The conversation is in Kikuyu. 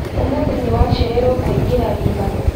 Ũmũthĩ nĩ wacererwo kũingĩra wĩra.